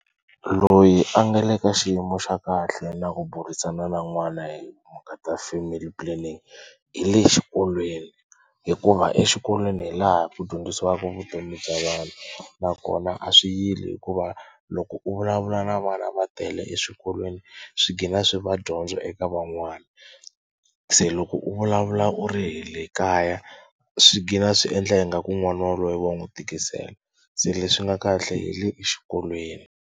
Loyi a nga le ka xiyimo xa kahle na ku burisana na n'wana hi timhaka ta family planning hi le xikolweni hikuva exikolweni hi laha ku dyondzisiwaka vutomi bya vanhu nakona a swi yile hikuva loko u vulavula na vana va tele eswikolweni swi gina swi va dyondzo eka van'wana. Se loko u vulavula u ri hi le kaya swi gina swi endla ingaku n'wana waloye wa n'wi tikisela se leswi nga kahle hi le exikolweni.